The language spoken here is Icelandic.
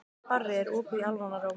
Barri, er opið í Almannaróm?